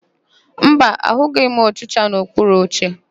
Mba, ahụghị m ọchịcha n'okpuru oche.